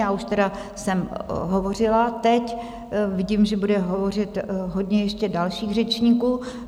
Já už tedy jsem hovořila teď, vidím, že bude hovořit hodně ještě dalších řečníků.